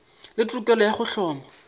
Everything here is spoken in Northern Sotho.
le tokelo ya go hloma